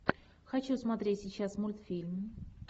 хочу смотреть сейчас мультфильм